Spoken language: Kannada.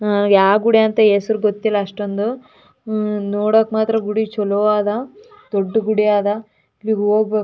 ಇಲ್ಲಿಗೆ ಹೋಗಕ್ಕೆ ವ್ಯವಸ್ತೆಗಾನಿ ಇಲ್ಲಿ ಯಲ್ಲ ಮೆಟ್ಲುಗಳಿವೆ. ಇಲ್ಲಿ ಎರಡು ಜನಾ ನಡ್ಕೊಂಡು ಹೋಕ್ತಾಯಿದ್ದರೆ.